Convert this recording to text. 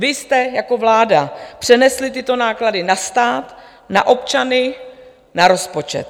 Vy jste jako vláda přenesli tyto náklady na stát, na občany, na rozpočet.